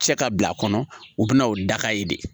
Cɛ ka bila a kɔnɔ u bɛ na o daga ye de